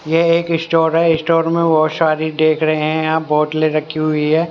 ये एक स्टोर है स्टोर में बहुत सारी देख रहे हैं आप बोटले रखी हुई हैं।